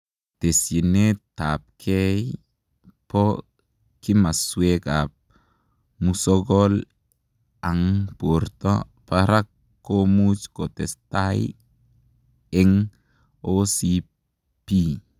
Tesienet ap gei poo kimasweekap musokol ang portoo paraak komuuch kotestai eng OCP.